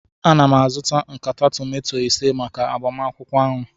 Ana m azụta nkata tomato ise maka agbamakwụkwọ ahụ